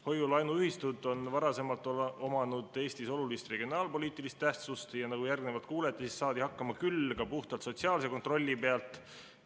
Hoiu-laenuühistud on varasemalt omanud Eestis olulist regionaalpoliitilist tähtsust ja nagu järgnevalt kuulete, saadi siis hakkama puhtalt sotsiaalse kontrolli pealt.